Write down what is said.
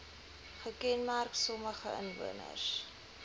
gekenmerk sommige inwoners